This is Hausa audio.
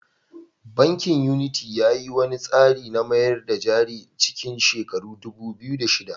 Bankin Unity ya yi wani tsari na mayar da jari a cikin shekarar dubu biyu da shida.